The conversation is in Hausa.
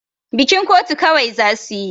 Bikin kotu kawai za su yi.